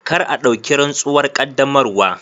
Kar a dauki rantsuwar qaddamarwa.